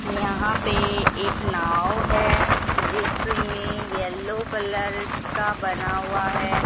यहां पे एक नाव हैं जिसमें येलो कलर का बना हुआ हैं।